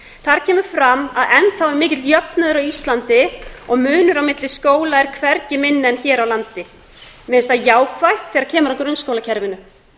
þar kemur fram að enn þá er mikill jöfnuður á íslandi og munur á milli skóla er hvergi minni en hér á landi mér finnst það jákvætt þegar kemur að grunnskólakerfinu